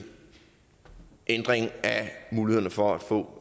ændring af mulighederne for at få